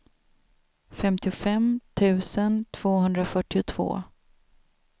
femtiofem tusen tvåhundrafyrtiotvå